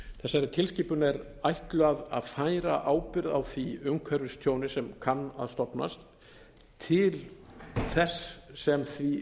þessari tilskipun er ætlað að færa ábyrgð á því umhverfistjóni sem kann að stofnast til þess sem því